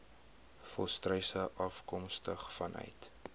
volstruise afkomstig vanuit